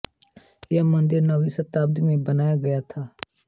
यह मंदिर नवीं शताब्दी में बनाया गया था